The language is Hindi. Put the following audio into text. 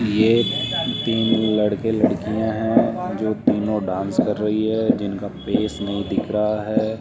ये तीन लड़के लड़कियां हैं जो तीनों डांस कर रही है जिनका फेस नहीं दिख रहा है।